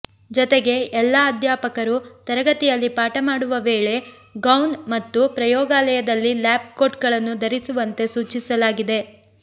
ಜೊತೆಗೆ ಎಲ್ಲಾ ಅಧ್ಯಾಪಕರು ತರಗತಿಯಲ್ಲಿ ಪಾಠ ಮಾಡುವ ವೇಳೆ ಗೌವ್ನ್ ಮತ್ತು ಪ್ರಯೋಗಾಲದಲ್ಲಿ ಲ್ಯಾಬ್ ಕೋಟ್ಗಳನ್ನು ಧರಿಸುವಂತೆ ಸೂಚಿಸಲಾಗಿದೆ